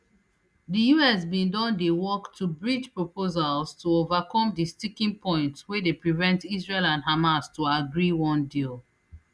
di us bin don dey work to bridge proposals to overcome di sticking points wey dey prevent israel and hamas to agree one deal